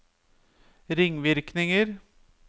ringvirkninger